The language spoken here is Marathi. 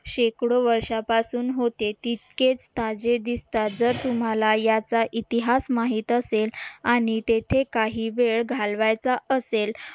शेकडो वर्षापासून होते तितकेच ताजे दिसतात जर तुम्हाला याचा इतिहास माहीत असेल आणि तेथे काही वेळ घालवायचा असेल